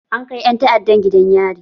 An kai ƴan ta'addan gidan yari.